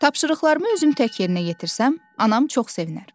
Tapşırıqlarımı özüm tək yerinə yetirsəm, anam çox sevinər.